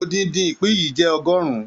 Odindin ìpín yìí jẹ ọgọrùn.